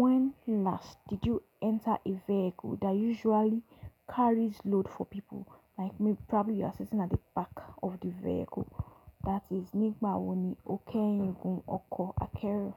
when last did you enter a vehicle that usually carries load for people like probably you are sitting at the back of the vehicle. That is, nígbà wo ni o kẹ́ẹ̀yin gun ọkọ̀ akẹ́rù?